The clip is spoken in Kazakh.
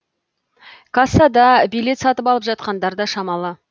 кассада билет сатып алып жатқандар да шамалы